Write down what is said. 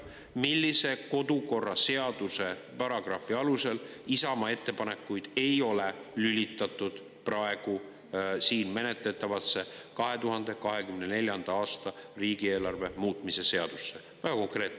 Millise kodukorraseaduse paragrahvi alusel Isamaa ettepanekuid ei ole lülitatud praegu siin menetletavasse 2024. aasta riigieelarve muutmise seaduse?